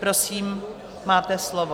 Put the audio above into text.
Prosím, máte slovo.